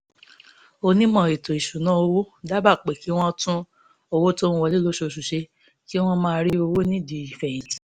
onímọ̀ ètò ìṣúnná owó dábàá pé kí wọ́n tún owó tó ń wọlé lóṣooṣù ṣe kí wọ́n máa rí owó nídìí ìfẹ̀yìntì